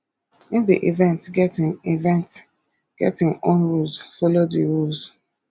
if di event get im event get im own rules follow di rules